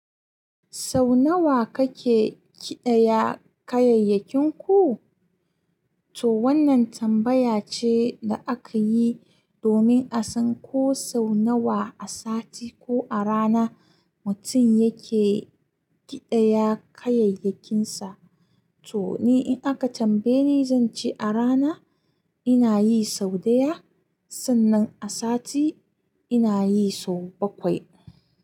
Sau nawa kake ƙidaya kayayyakinku? To wannan tambaya ce da aka yi domin a san ko sau nawa a sati ko a rana mutum yake ƙidaya kayayyakinsa. To ni in aka tambaye ni zan ce a rana ina yi sau ɗaya, sannan a sati ina yi sau bakwai.